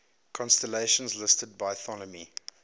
constellations listed by ptolemy